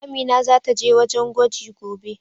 Amina zata je wajen gwaji gobe.